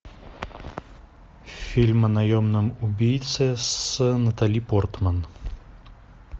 фильм о наемном убийце с натали портман